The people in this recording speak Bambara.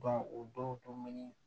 o donni